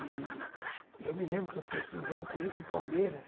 E eu me lembro que eu fui assistir um jogo do Corinthians em Palmeiras,